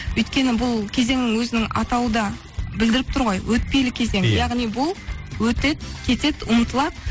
өйткені бұл кезең өзінің атауы да білдіріп тұр ғой өтпелі кезең яғни бұл өтеді кетеді ұмытылады